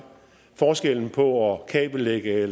forskellen på at kabellægge